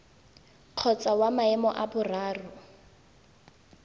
kgotsa wa maemo a boraro